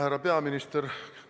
Härra peaminister!